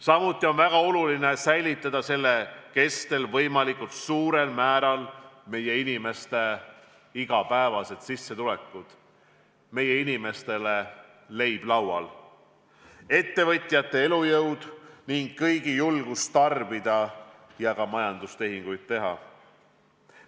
Samuti on väga oluline säilitada selle kestel võimalikult suurel määral meie inimeste igapäevane sissetulek, meie inimeste leib laual, ettevõtjate elujõud ning kõigi julgus tarbida ja ka majandustehinguid teha.